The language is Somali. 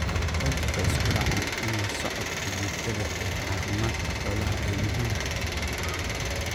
Qaarkood waxay isku raaceen in la socodka joogtada ah ee caafimaadka xoolaha ay muhiim tahay.